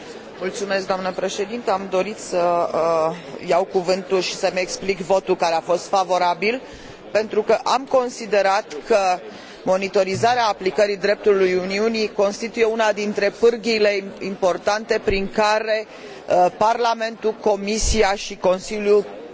Am dorit să iau cuvântul și să îmi explic votul, care a fost favorabil, pentru că am considerat că monitorizarea aplicării dreptului Uniunii constituie una dintre pârghiile importante prin care Parlamentul, Comisia și Consiliul pot